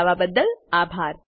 જોડાવા બદલ આભાર